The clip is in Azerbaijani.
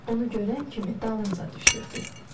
Onu görən kimi dalınca düşürdü.